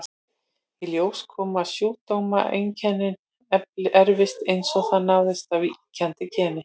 Í ljós kom að sjúkdómseinkennið erfist eins og það ráðist af víkjandi geni.